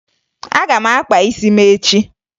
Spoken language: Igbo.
Aga m akpa isi m echi